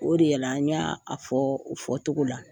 O de la n y'a fɔ o fɔcogo la